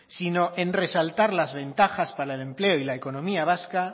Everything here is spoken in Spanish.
sino en resaltar las ventajas para el empleo y la economía vasca